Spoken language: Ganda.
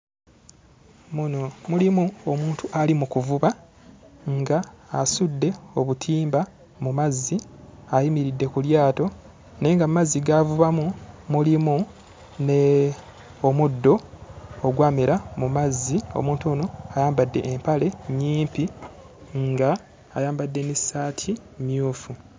Muno mulimu omuntu ali mu kuvuba ng'asudde obutimba mu mazzi, ayimiridde ku lyato naye nga mu mazzi g'avubamu mulimu n'omuddo ogwamera mu mazzi. Omuntu Ono ayambadde empale nnyimpi ng'ayambadde n'essaati mmyufu.